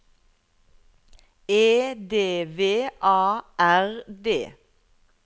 E D V A R D